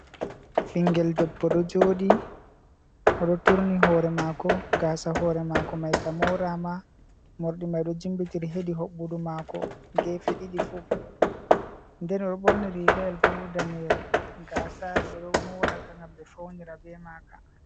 Ɓingel debbo ɗo joɗi, oɗo turni hore mako, gasa hore mako mai ka mora ma morɗi mai ɗo jimbitiri hedi hoɓɓudu mako gefe ɗiɗi fu. Den oɗo ɓorni rigayel bo daneyel. Gasa ɓe ɗo moraka gam ɓe faunira be Maka.